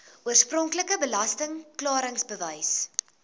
oorspronklike belasting klaringsbewys